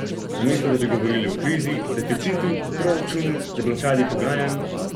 Namesto da bi govorili o krizi, deficitu, proračunu, deblokadi pogajanj ...